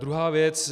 Druhá věc.